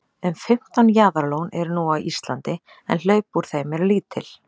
um fimmtán jaðarlón eru nú á íslandi en hlaup úr þeim eru lítil